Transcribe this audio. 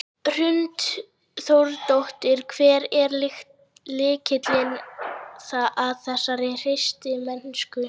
Hrund Þórsdóttir: Hver er lykillinn að þessari hreystimennsku?